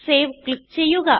save click ചെയ്യുക